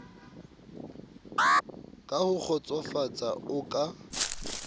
ka ho kgotsofatsa o ka